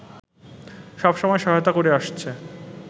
সব সময় সহায়তা করে আসছে